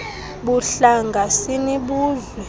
buhlanga sini buzwe